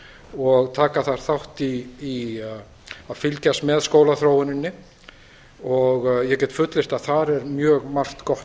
og taka þar þátt í að fylgjast með skólaþróuninni og ég get fullyrt að þar er mjög margt gott